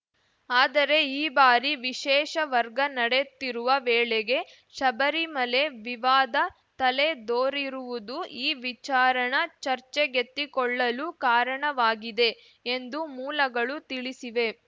ಆದರೆ ಈ ಬಾರಿ ವಿಶೇಷ ವರ್ಗ ನಡೆತ್ತಿರುವ ವೇಳೆಗೇ ಶಬರಿಮಲೆ ವಿವಾದ ತಲೆದೋರಿರುವುದು ಈ ವಿಚಾರಣ ಚರ್ಚೆಗೆತ್ತಿಕೊಳ್ಳಲು ಕಾರಣವಾಗಿದೆ ಎಂದು ಮೂಲಗಳು ತಿಳಿಸಿವೆ